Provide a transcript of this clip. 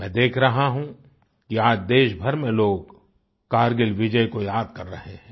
मैं देख रहा हूँ कि आज देश भर में लोग कारगिल विजय को याद कर रहे है